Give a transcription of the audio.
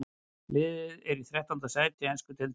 Liðið er í þrettánda sæti ensku deildarinnar.